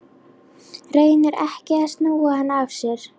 Reynir ekki að snúa hann af sér.